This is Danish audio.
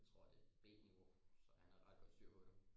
Jeg tror det er b nivau så han har ret godt styr på det